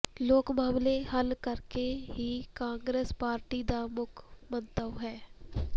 ਲੋਕ ਮਸਲੇ ਹੱਲ ਕਰਨੇ ਹੀ ਕਾਂਗਰਸ ਪਾਰਟੀ ਦਾ ਮੁੱਖ ਮੰਤਵ ਹੈ